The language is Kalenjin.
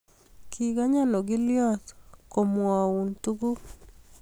kikanya ogilyot komwou tukuk